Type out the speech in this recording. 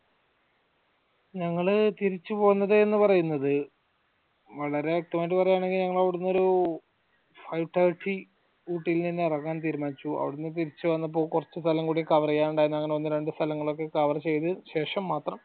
ഞങ്ങള് തിരിച്ചു പോന്നത് എന്ന് പറയുന്നത് വളരെ വ്യക്തമായിട്ട് പറയുവാണെങ്കിൽ ഞങ്ങളൊരു five thirty ഊട്ടിയിൽ നിന്ന് ഇറങ്ങാൻ തീരുമാനിച്ചു അവ്ടെന്ന് തിരിച് വന്നപ്പോ കുറച്ച സ്ഥലം കൂടി cover ചെയ്യാറുണ്ടായിരുന്നു അങ്ങനെ ഒന്ന് രണ്ട് സ്ഥലങ്ങളൊക്കെ cover ചെയ്ത ശേഷം മാത്രം